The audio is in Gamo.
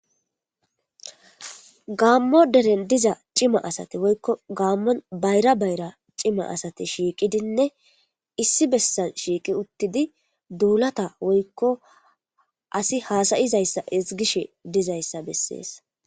Gaammo deren diza cima asate woykko gaammon bayra bayra cima asate shiiqidinne issi bessa shiiqi uttidi duulata woykko asi haasayizayssa izgishe dizayssa bessees.